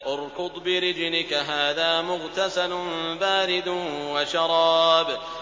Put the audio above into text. ارْكُضْ بِرِجْلِكَ ۖ هَٰذَا مُغْتَسَلٌ بَارِدٌ وَشَرَابٌ